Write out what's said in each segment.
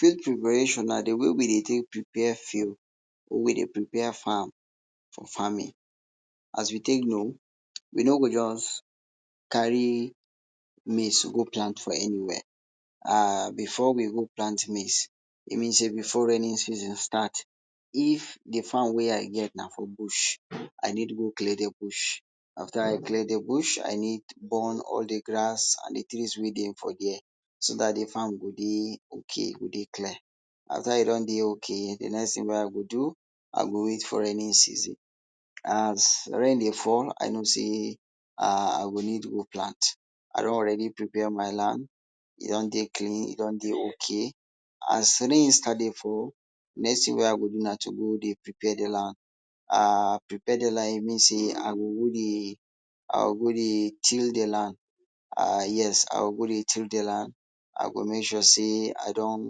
Field preparation na de way wey we de take prepare field we de prepare farm for farming. As you take no, we no go just carry maize go plant for anywhere um before we go plant maize let me sey before raining season start if de farm whey I get na for bush, I need go clear de bush, after I go clear de bush, I need go burn all de grass and de tins wey dey for there so dat de farm go dey ok e go dey clear, after e don de ok de next tin wey I go do, I go wait for raining season as rain de fall I no say I go need go plant, I don already prepare my land e don de clean, e don de ok, as rain start de fall next tin wey I go do now na to de prepare de land um prepare de land even sey I go go dey i go go dey till um yes I go go dey till de land, I go make sure say I don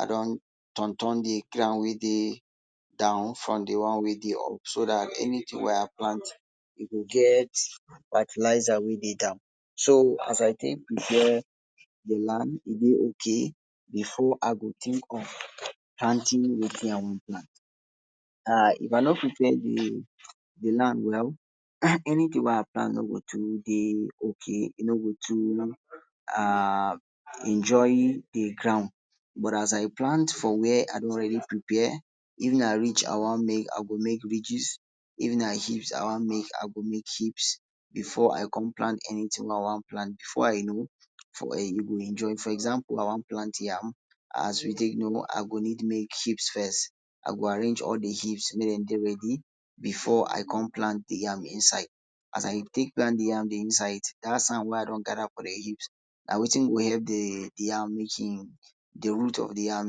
i don turn turn de ground wey dey down from de one wey de up so dat anytin wey I plant go get fertilizer wey dey down, so as I take prepare de land e de ok before I go tink of planting wetin I wan plant um if I no prepare de land well anytin wey I plant no go too de ok, e no go too enjoy d ground but as I plant for where I don already prepare, if na ridge wan make I go make ridges, if heap I wan make I go make heaps before I cum plant anytin wey I wan plant before I no e go enjoy for example, I wan plant yam as we take no I go make heap first, I go arrange all heaps make dem de ready before I come plant de yam inside, as I take plant de yam inside dat sand wey I don gather for de heap na wetin go help de de yam make um de root of de yam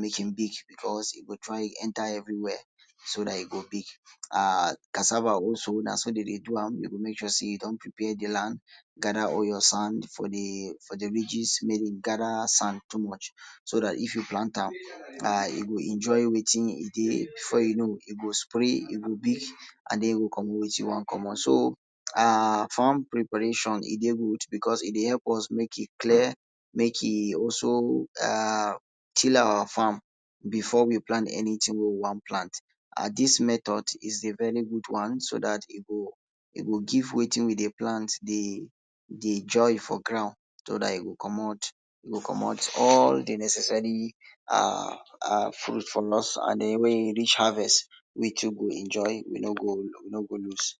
make e big, becos e go try enter every where so dat e go big, um cassava also na so dem dey do am, you go make sure say you don prepare your land gather all your sand for de ridges maybe gather sand too much make you plant am e go enjoy wetin e de before you no, e go spread e go big and den e go comot wetin e wan comot, so um farm preparation, e de good becos e de help us clear make e also till our farm before we plant anytin wey we wan plant. Dis method is a very good one so dat e go, e go give wetin we dey plant de joy for ground so dat e go comot e go comot all de necessary um fruits for us and den wen e reach harvest we too go enjoy we no go loose